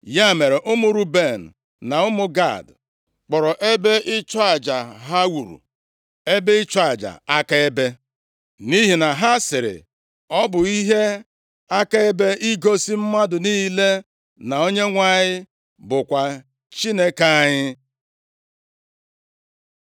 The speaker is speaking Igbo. Ya mere, ụmụ Ruben na ụmụ Gad kpọrọ ebe ịchụ aja ha wuru, “Ebe ịchụ aja akaebe,” nʼihi na ha sịrị, “Ọ bụ ihe akaebe igosi mmadụ niile na Onyenwe anyị bụkwa Chineke anyị.”